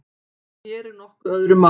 En hér er nokkuð öðru máli að gegna.